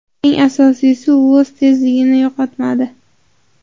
Eng asosiysi, u o‘z tezligini yo‘qotmadi.